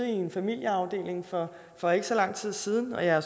i en familieafdeling for for ikke så lang tid siden og jeg har